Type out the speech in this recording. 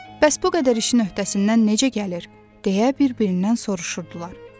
Bəs bu qədər işin öhdəsindən necə gəlir, deyə bir-birindən soruşurdular.